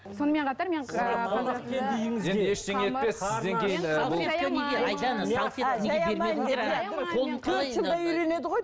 сонымен қатар мен